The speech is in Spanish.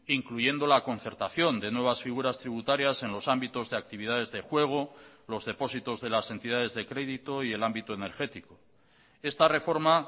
incluyendo la concertación de nuevas figuras tributarias en los ámbitos de actividades de juego los depósitos de las entidades de crédito y el ámbito energético esta reforma